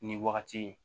Nin wagati